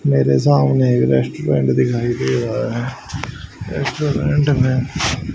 मेरे सामने एक रेस्टोरेंट दिखाई दे रहा है रेस्टोरेंट में--